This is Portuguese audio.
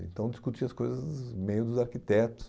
Então, discutia as coisas no meio dos arquitetos.